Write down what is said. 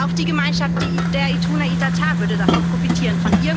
Auch die Gemeinschaft der Ituna Itatá würde davon profitieren.